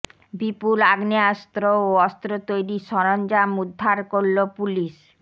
বিপুল আগেয়াস্ত্র ও অস্ত্র তৈরির সরঞ্জাম উদ্ধার করল পুলিশ